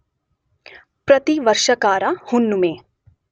ಪ್ರತಿವರ್ಷ ಕಾರ ಹುಣ್ಣುಮೆ